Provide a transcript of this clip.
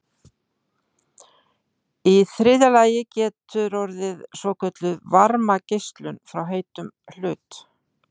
í þriðja lagi getur orðið svokölluð varmageislun frá heitum hlut